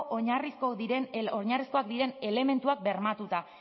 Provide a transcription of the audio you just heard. oinarrizkoak diren elementuak bermatuta